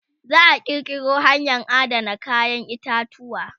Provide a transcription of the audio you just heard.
za'a kirkiro hanyan Adana kayan itatuwa